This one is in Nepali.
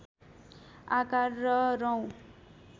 आकार र रौँ